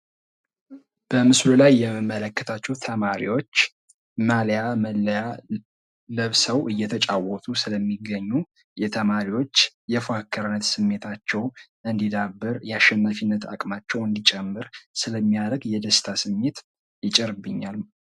በምስሉ ላይ የምንመለከታቸው ተማሪዎች ማሊያ ለብሰው እየተጫወቱ ስለሚገኙ የተማሪዎች የአሸናፊነት አቅማቸው እንዲጨምር ስለሚያደርግ የደስታ ስሜት ይጨምርብኛል።